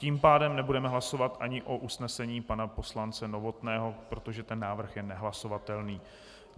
Tím pádem nebudeme hlasovat ani o usnesení pana poslance Novotného, protože ten návrh je nehlasovatelný.